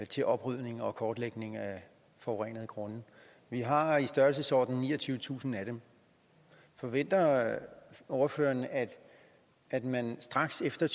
til oprydning og kortlægning af forurenede grunde og vi har i størrelsesordenen niogtyvetusind af dem forventer ordføreren at at man straks efter